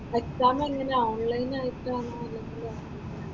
Exam എങ്ങനെയാ online ആയിട്ട് ആണോ അല്ലെങ്കില് അല്ലാതെ ആണോ?